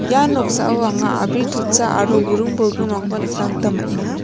ia noksao anga a·bri totsa aro buring bolgrimrangkoba nikna gita man·enga.